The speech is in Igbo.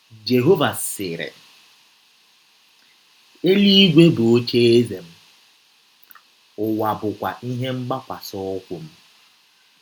Jehọva sịrị: “ Elụigwe bụ ocheeze m, ụwa bụkwa ihe mgbakwasị ụkwụ m.